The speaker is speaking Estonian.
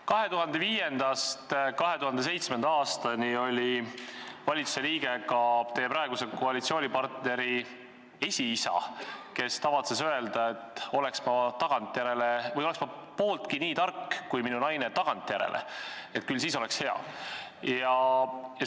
2005.–2007. aastani oli valitsuse liige ka teie praeguse koalitsioonipartneri esiisa, kes tavatses öelda, et oleks ma pooltki nii tark kui minu naine tagantjärele, küll siis oleks hea.